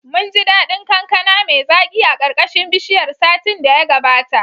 Munji daɗin kankana mai zaki a ƙarƙashin bishiyar satin da ya gabata.